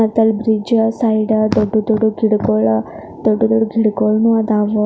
ಮತ್ತೆ ಈ bridge side ದೊಡ್ಡ ದೊಡ್ಡ ಗಿಡಗಳು ದೊಡ್ಡ ದೊಡ್ಡ ಗಿಡಗಳುನು ಅದಾವೆ .